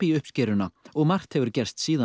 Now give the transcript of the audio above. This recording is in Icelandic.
uppskeruna og margt hefur gerst síðan